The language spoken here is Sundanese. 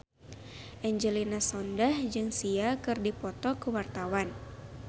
Angelina Sondakh jeung Sia keur dipoto ku wartawan